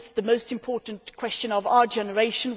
This is the most important question of our generation